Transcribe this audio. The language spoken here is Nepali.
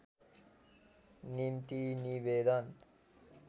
निम्ति निवेदन